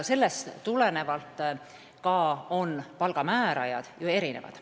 Sellest tulenevalt on ju ka palga määrajad erinevad.